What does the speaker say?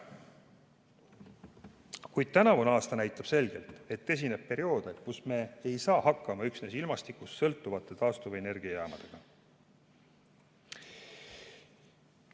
Kuid tänavune aasta näitab selgelt, et esineb perioode, kui me ei saa hakkama üksnes ilmastikust sõltuvate taastuvenergiajaamadega.